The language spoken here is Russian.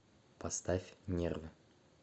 поставь нервы